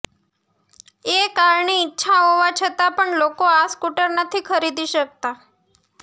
એ કારણે ઈચ્છા હોવા છતાં પણ લોકો આ સ્કૂટર નથી ખરીદી શકતા